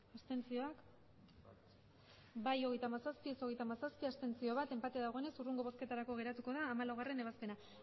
abstenzioak emandako botoak hirurogeita hamabost bai hogeita hamazazpi ez hogeita hamazazpi abstentzioak bat enpate dagoenez hurrengo bozketarako geratuko da hamalaugarrena ebazpena